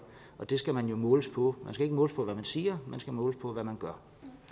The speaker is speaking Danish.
og det skal man jo måles på man skal ikke måles på hvad man siger men man skal måles på hvad man gør